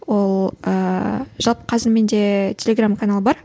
ол ыыы жалпы қазір менде телеграмм канал бар